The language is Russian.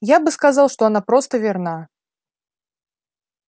я бы сказал что она просто верна